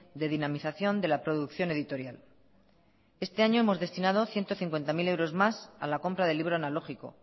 de dinamización de la producción editorial este año hemos destinado ciento cincuenta mil euros más a la compra del libro analógico